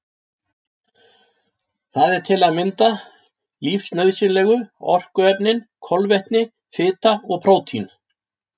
Það eru til að mynda lífsnauðsynlegu orkuefnin kolvetni, fita og prótín.